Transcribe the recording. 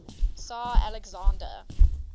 tsar alexander